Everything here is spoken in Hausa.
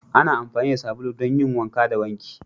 Ana amfani da sabulu don yin wanka da wanki